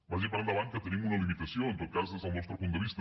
vagi per endavant que tenim una limitació en tot cas des del nostre punt de vista